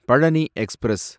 Palani express